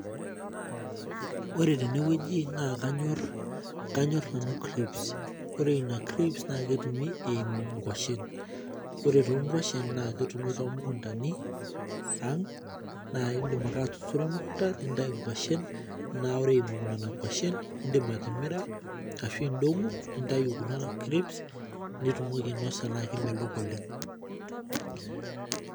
Ore tenewueji naa kanyor, kanyor nanu crips. Ore ina crips na ketumi eimu inkwashen. Ore tonkwashen naa ketumi tomukuntani ang, na idim ake atuturo emukunda nintayu kwashen, na ore nena kwashen idim atimira, ashu idong'u nintayu kuna crips ,nitumoki ainosa na kemelok oleng.